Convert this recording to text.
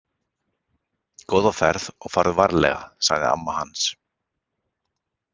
Góða ferð og farðu varlega, sagði amma hans.